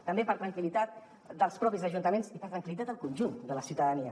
també per tranquil·litat dels propis ajuntaments i per tranquil·litat del conjunt de la ciutadania